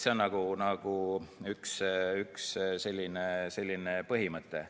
See on üks põhimõte.